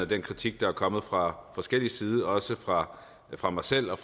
den kritik der er kommet fra forskellig side også fra fra mig selv og